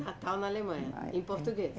Natal na Alemanha, em português.